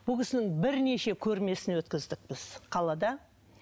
бұл кісінің бірнеше көрмесін өткіздік біз қалада